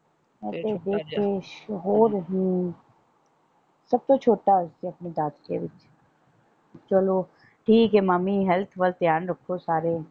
ਇਹ ਛੋਟਾ ਜਿਹਾ ਤੇ ਹੋਰ ਸਬ ਤੋਂ ਛੋਟਾ ਇਹ ਦਾਦਕੇ ਵਿੱਚ ਚਲੋ ਠੀਕ ਏ ਮਾਮੀ ਹੈਲਥ ਵੱਲ ਧਿਆਨ ਰੱਖੋ ਸਾਰੇ।